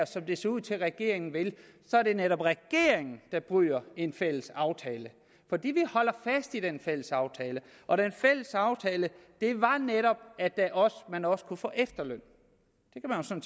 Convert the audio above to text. som det ser ud til regeringen vil er det netop regeringen der bryder en fælles aftale vi holder fast i den fælles aftale og den fælles aftale var netop at man også kunne få efterløn